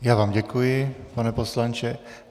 Já vám děkuji, pane poslanče.